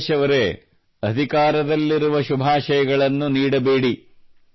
ರಾಜೇಶ್ ಅವರೇ ಅಧಿಕಾರದಲ್ಲಿರುವ ಶುಭಾಷಯಗಳನ್ನು ನೀಡಬೇಡಿ